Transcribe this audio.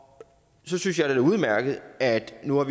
så synes jeg det er udmærket at vi nu har